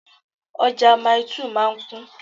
Ọjà Maili2 máa ń kún